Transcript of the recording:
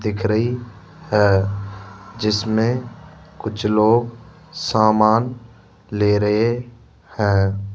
दिख रही है जिसमें कुछ लोग सामान ले रहे हैं।